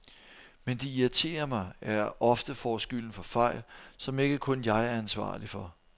Men det irriterer mig, at jeg ofte får skylden for fejl, som ikke kun jeg er ansvarlig for.